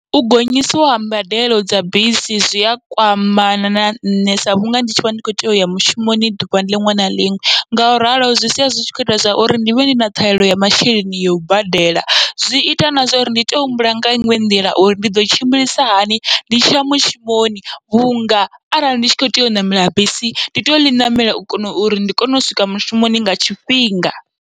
U gonyisiwa ha mbadelo dza bisi zwia kwamana na nṋe, sa vhunga ndi tshivha ndi kho tea uya mushumoni ḓuvha liṅwe na liṅwe, ngauralo zwi sia zwi tshi kho ita zwa uri ndivhe ndi na ṱhahelelo ya masheleni yau badela, zwi ita na zwauri ndi tea u humbula nga inwe nḓila uri ndi ḓo tshimbilisahani ndi tshiya mushumoni, vhunga arali ndi tshi kho tea u ṋamela bisi ndi toya ḽi namela u kona uri ndi kone u swika mushumoni nga tshifhinga.